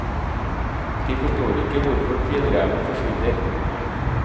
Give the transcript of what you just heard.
De forstår ikke hvorfor fjellreven forsvinner.